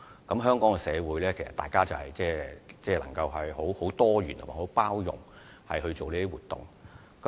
在香港社會，大家都能夠多元及包容地舉行活動。